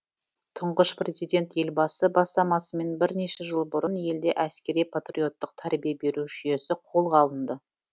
тұңғыш президент елбасы бастамасымен бірнеше жыл бұрын елде әскери патриоттық тәрбие беру жүйесі қолға алынды